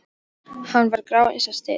Hann var grár eins og steinn.